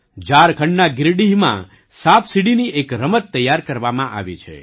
ઝારખંડના ગિરિડીહમાં સાપસીડીની એક રમત તૈયાર કરવામાં આવી છે